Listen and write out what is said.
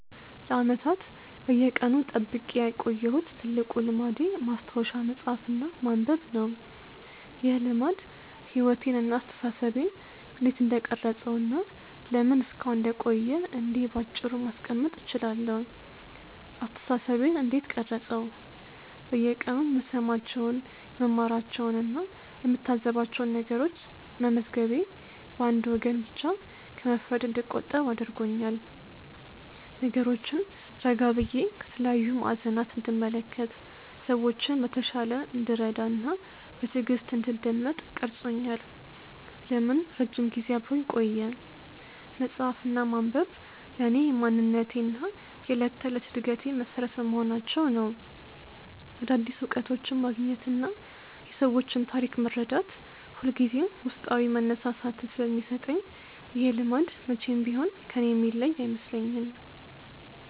ለዓመታት በየቀኑ ጠብቄ ያቆየሁት ትልቁ ልማዴ ማስታወሻ መጻፍ እና ማንበብ ነው። ይህ ልማድ ሕይወቴን እና አስተሳሰቤን እንዴት እንደቀረጸው እና ለምን እስካሁን እንደቆየ እንዲህ ባጭሩ ማስቀመጥ እችላለሁ፦ አስተሳሰቤን እንዴት ቀረፀው? በየቀኑ የምሰማቸውን፣ የምማራቸውን እና የምታዘባቸውን ነገሮች መመዝገቤ በአንድ ወገን ብቻ ከመፍረድ እንድቆጠብ አድርጎኛል። ነገሮችን ረጋ ብዬ ከተለያዩ ማዕዘናት እንድመለከት፣ ሰዎችን በተሻለ እንድረዳ እና በትዕግስት እንድደመጥ ቀርጾኛል። ለምን ረጅም ጊዜ አብሮኝ ቆየ? መጻፍ እና ማንበብ ለእኔ የማንነቴ እና የዕለት ተዕለት ዕድገቴ መሠረት በመሆናቸው ነው። አዳዲስ እውቀቶችን ማግኘት እና የሰዎችን ታሪክ መረዳት ሁልጊዜም ውስጣዊ መነሳሳትን ስለሚሰጠኝ ይሄ ልማድ መቼም ቢሆን ከእኔ የሚለይ አይመስለኝም።